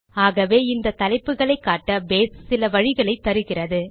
ஆகவே இந்த தலைப்புகளை காட்ட பேஸ் சில வழிகளை தருகிறது